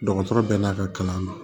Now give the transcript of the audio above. Dɔgɔtɔrɔ bɛɛ n'a ka kalan don